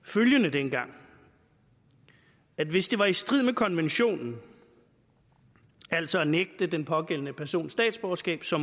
dengang at hvis det var i strid med konventionen altså at nægte den pågældende person statsborgerskab så